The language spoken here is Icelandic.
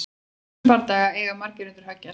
Í þessum bardaga eiga margir undir högg að sækja!